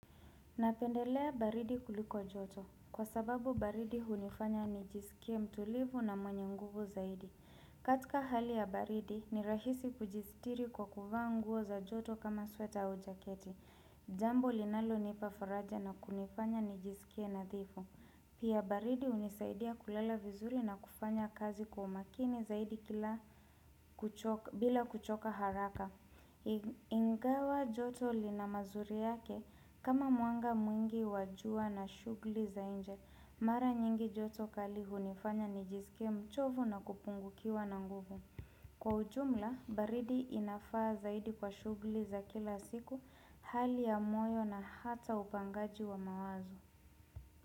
Napendelea baridi kuliko joto kwa sababu baridi hunifanya nijisikie mtulivu na mwenye nguvu zaidi. Katika hali ya baridi ni rahisi kujistiri kwa kuvanguo za joto kama sweta au jaketi. Jambo linalo nipafaraja na kunifanya nijisikie nadhifu. Pia baridi unisaidia kulala vizuri na kufanya kazi kwa makini zaidi kila bila kuchoka haraka. Ingawa joto lina mazuri yake kama mwanga mwingi wajua na shughuli za inje Mara nyingi joto kali hunifanya nijisike mchovu na kupungukiwa na nguvu Kwa ujumla, baridi inafaa zaidi kwa shughuli za kila siku, hali ya moyo na hata upangaji wa mawazo.